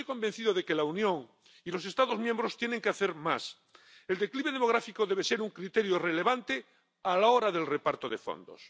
Pero estoy convencido de que la Unión y los Estados miembros tienen que hacer más. El declive demográfico debe ser un criterio relevante a la hora del reparto de fondos.